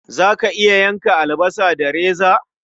Za ka iya yanka albasa da reza?